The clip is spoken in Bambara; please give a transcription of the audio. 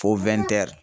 Ko wɛn